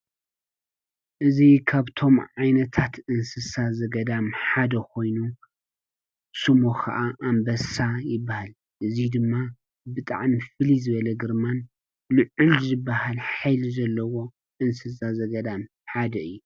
እዚ ኻብቶም ዓይነታት እንስሳ ዘገዳም ሓደ ኾይኑ ስሙ ኸዓ ኣምበሳ ይበሃል፡፡ እዙይ ድማ ብጣዕሚ ፍልይ ዝበለ ግርማን ልዑል ዝበሃል ሓይሊ ዘለዎ እንስሳ ዘገዳም ሓደ እዩ፡፡